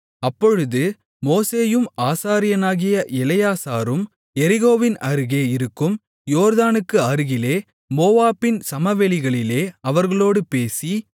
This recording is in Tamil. அப்பொழுது மோசேயும் ஆசாரியனாகிய எலெயாசாரும் எரிகோவின் அருகே இருக்கும் யோர்தானுக்கு அருகிலே மோவாபின் சமவெளிகளிலே அவர்களோடு பேசி